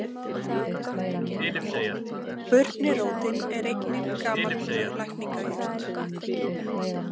Burnirótin er einnig gamalkunnug lækningajurt.